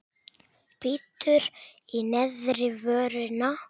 Bítur í neðri vörina.